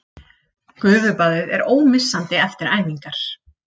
Gufubaðið er ómissandi eftir æfingar